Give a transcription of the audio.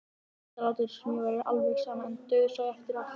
Ég reyndi að láta eins og mér væri alveg sama en dauðsá auðvitað eftir hárinu.